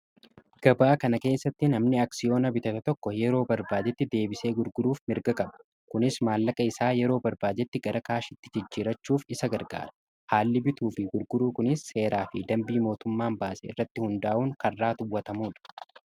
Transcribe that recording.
Gabaa kana keessattii nammi aksiyoona bitatan tokko yeroo barbaadetti deebisee gurguruuf mirga qaba kunis maallaqa isaa yeroo barbaadetti gara kaashitti jijjiirachuuf isa gargaara.